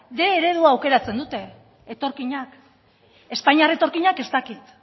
bostehun eredua aukeratzen dute etorkinak espainiar etorkinak ez dakit